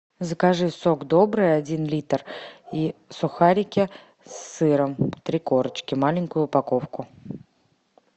закажи сок добрый один литр и сухарики с сыром три корочки маленькую упаковку